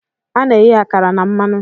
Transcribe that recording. Ana-eghe akara na mmanụ.